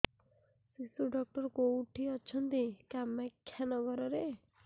ଶିଶୁ ଡକ୍ଟର କୋଉଠି ଅଛନ୍ତି କାମାକ୍ଷାନଗରରେ